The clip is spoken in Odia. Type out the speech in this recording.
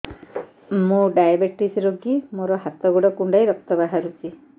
ମୁ ଡାଏବେଟିସ ରୋଗୀ ମୋର ହାତ ଗୋଡ଼ କୁଣ୍ଡାଇ ରକ୍ତ ବାହାରୁଚି